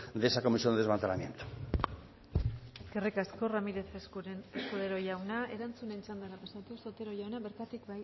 de esa comisión de desmantelamiento eskerrik asko ramírez escudero jauna erantzunen txandara pasatuz otero jauna bertatik